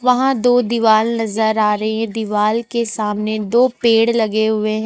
वहां दो दीवाल नजर आ रही है दीवार के सामने दो पेड़ लगे हुए हैं।